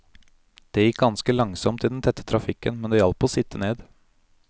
Det gikk ganske langsomt i den tette trafikken, men det hjalp å sitte ned.